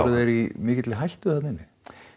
þeir í mikilli hættu þarna inni